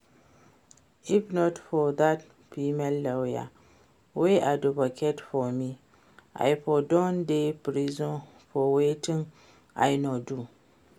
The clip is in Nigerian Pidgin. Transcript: If not for dat female lawyer wey advocate for me I for don dey prison for wetin I no do